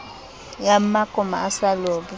ya mmakoma a sa lobe